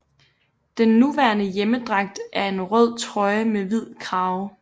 Den nuværende hjemmedragt er en rød trøje med hvid krave